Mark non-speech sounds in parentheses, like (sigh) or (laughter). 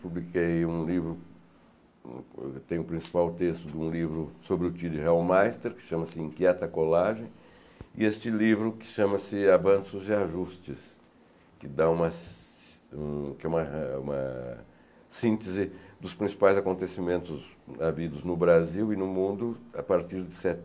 Publiquei um livro... Tenho o principal texto de um livro sobre o (unintelligible) de Real Meister, que chama-se Inquieta Colagem, e este livro que chama-se Avanços e Ajustes, que dá uma um que é uma síntese dos principais acontecimentos havidos no Brasil e no mundo a partir de se